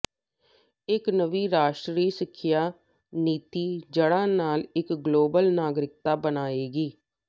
ਇੱਕ ਨਵੀਂ ਰਾਸ਼ਟਰੀ ਸਿੱਖਿਆ ਨੀਤੀ ਜੜ੍ਹਾਂ ਨਾਲ ਇੱਕ ਗਲੋਬਲ ਨਾਗਰਿਕ ਬਣਾਏਗੀ